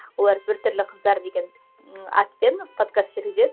олар бір түрлі қыздар деген ы атпен подкаст жүргізеді